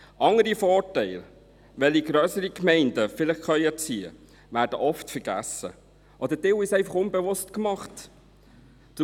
Andere Vorteile, die grössere Gemeinden vielleicht erzielen können, werden oft vergessen oder teilweise einfach unbewusst genutzt.